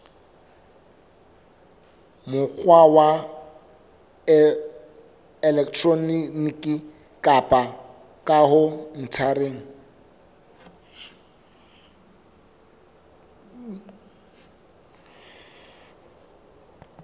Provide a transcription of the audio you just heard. mokgwa wa elektroniki kapa khaontareng